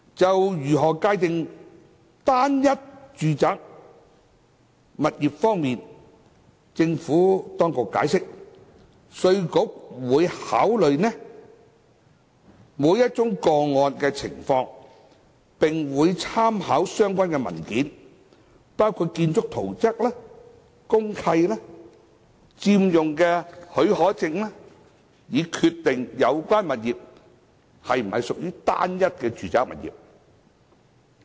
就如何界定"單一"住宅物業方面，政府當局解釋，稅務局會考慮每宗個案的情況，並會參考相關文件，包括建築圖則、公契、佔用許可證等，以決定有關物業是否屬於"單一"住宅物業。